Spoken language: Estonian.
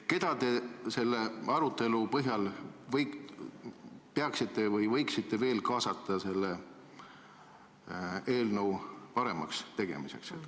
Keda te selle arutelu põhjal sooviksite veel kaasata eelnõu paremaks tegemisse?